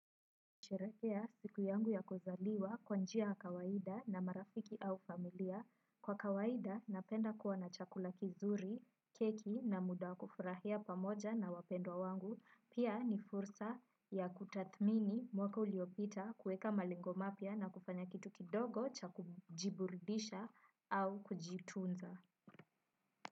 Nasherehekea siku yangu ya kuzaliwa kwa njia ya kawaida na marafiki au familia. Kwa kawaida napenda kuwa na chakula kizuri, keki na muda kufurahia pamoja na wapendwa wangu. Pia ni fursa ya kutathmini mwaka uliopita, kuweka malengo mapya na kufanya kitu kidogo cha kujiburudisha au kujitunza.